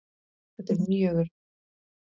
Þetta er röng frétt.